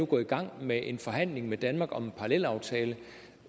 gå i gang med en forhandling med danmark om en parallelaftale